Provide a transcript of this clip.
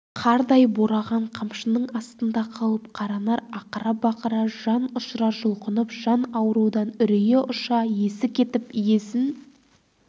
қардай бораған қамшының астында қалып қаранар ақыра бақыра жан ұшыра жұлқынып жан аурудан үрейі ұша есі кетіп иесін